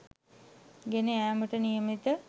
ගෙන යාමට නියමිතය.